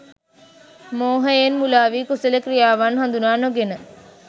මෝහයෙන් මුළාවී, කුසල ක්‍රියාවන් හඳුනා නොගෙන